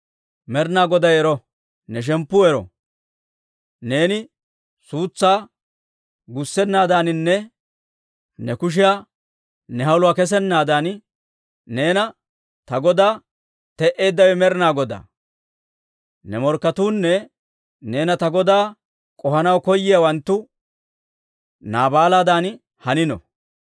«Med'inaa Goday ero! Ne shemppu ero! Neeni suutsaa gussennaadaaninne ne kushiyan ne haluwaa kessennaadan, neena ta godaa te'eeddawe Med'inaa Godaa. Ne morkketuunne neena ta godaa k'ohanaw koyiyaawanttu Naabaaladan hanino.